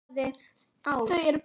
Þau er bæði látin.